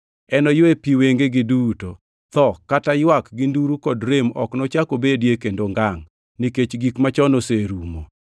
Enoywe pi wengegi duto. Tho kata ywak gi nduru kod rem ok nochak obedie kendo ngangʼ, nikech gik machon oserumo.”